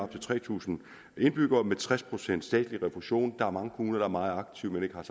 til tre tusind indbyggere med tres procent statslig refusion der er mange kommuner der er meget aktive men ikke har